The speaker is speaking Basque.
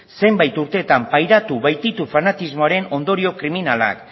zeinak urtetan pairatu baititu fanatismoaren ondorio kriminalak